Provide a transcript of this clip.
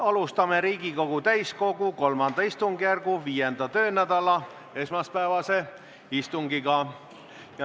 Alustame Riigikogu täiskogu III istungjärgu 5. töönädala esmaspäevast istungit.